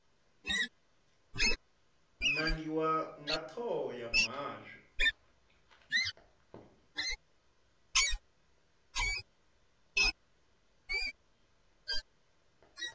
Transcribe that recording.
nangiwa nga thoho ya muhasho